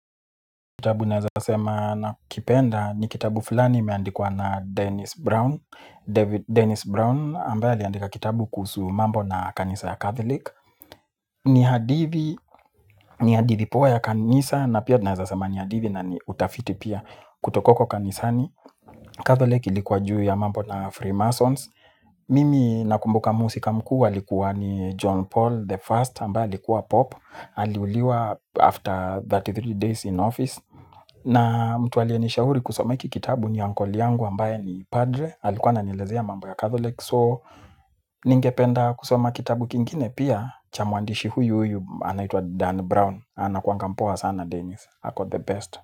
Kitabu ninaweza kusema nakipenda ni kitabu fulani kilichoandikwa na Dennis Brown. Dennis Brown ambaye aliandika kitabu kuhusu mambo na kanisa ya catholic. Ni hadithi, ni hadithi poa ya kanisa, na pia naweza kusema ni hadithi na ni utafiti pia kutoka kanisani, Catholic, ilikuwa juu ya mambo ya Freemasons. Mimi nakumbuka mhusika mkuu alikuwa ni John Paul the First ambaye alikuwa Papa. Aliuawa after thelathini na tatu days in office. Na mtu aliyenishauri kisoma kitabu hicho ni ndugu yangu ambaye ni padre. Alikuwa ananielezea mambo ya Catholic. So ningependa kusoma kitabu kingine pia cha mwandishi huyu huyu anayeitwa Dan Brown. Anakuwa ameandika vizuri sana, Dennis hako the best.